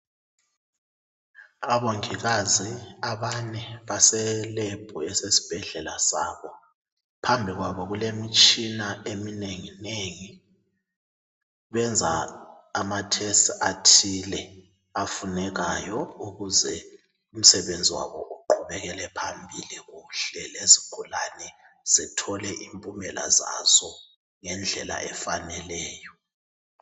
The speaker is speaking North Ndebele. Abongikazi abane baselebhu esesibhedlela sabo. Phambi kwabo kulemitshina eminenginengi, benza ama test athile afunekayo ukuze umsebenzi wabo uqhubekele phambili kuhle, lezigulane zithole impumela zazo ngendlela efaneleyo.